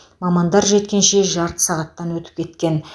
мамандар жеткенше жарты сағаттан өтіп кеткен